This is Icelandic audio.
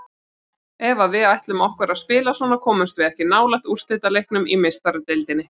Ef að við ætlum okkur að spila svona komumst við ekki nálægt úrslitaleiknum í Meistaradeildinni.